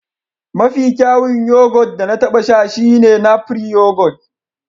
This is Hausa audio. Mafi kyawun yoghurt da na taɓa sha shine napri yoghurt